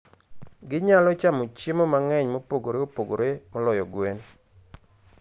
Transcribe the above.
Ginyalo chamo chiemo mang'eny mopogore opogore moloyo gwen.